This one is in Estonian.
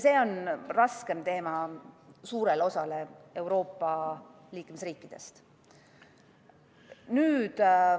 See on raske teema suurele osale Euroopa Liidu liikmesriikidest.